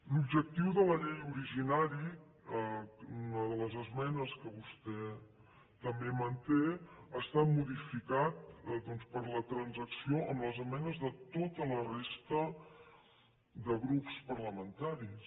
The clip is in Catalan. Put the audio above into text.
l’objectiu de la llei originari una de les esmenes que vostè també manté ha estat modificat doncs per la transacció amb les esmenes de tota la resta de grups par lamentaris